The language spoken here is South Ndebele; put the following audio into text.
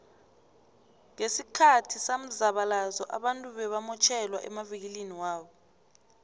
nqesikhathi samzabalazo abantu bebamotjhelwa emavikiliniwabo